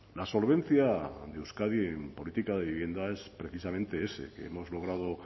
la solvencia de euskadi en política de vivienda es precisamente ese que hemos logrado